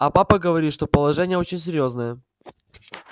а папа говорит что положение очень серьёзное